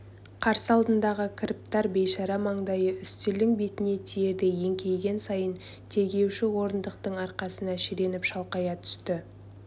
қарсы алдындағы кіріптар бейшара маңдайы үстелдің бетіне тиердей еңкейген сайын тергеуші орындықтың арқасына шіреніп шалқая түсті